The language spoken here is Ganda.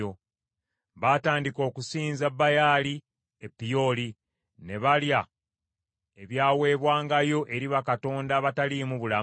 Baatandika okusinza Baali e Peoli; ne balya ebyaweebwangayo eri bakatonda abataliimu bulamu.